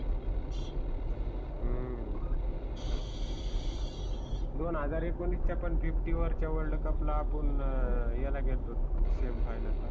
हम्म दोन हजार एकोनीसचा पण fifty over च्या world cup ला आपुन याला गेलतोत semi final ला.